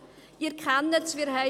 Sie kennen es: